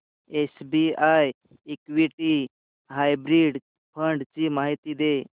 SBI equity hybrid fund ची माहिती दे